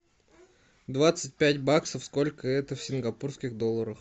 двадцать пять баксов сколько это в сингапурских долларах